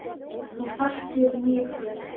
Þú þekkir mig frændi.